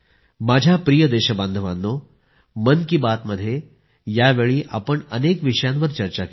माझ्या प्रिय देशबांधवांनो मन की बातमध्ये यावेळी आपण अनेक विषयांवर चर्चा केली